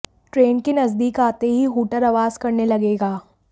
train के नजदीक आते ही हूटर आवाज करने लगेगा